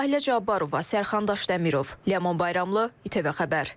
Sahilə Cabbarova, Sərxan Daşdəmirov, Ləman Bayramlı, ATV Xəbər.